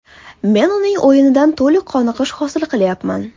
Men uning o‘yinidan to‘liq qoniqish hosil qilyapman.